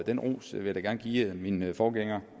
den ros vil jeg da gerne give min min forgænger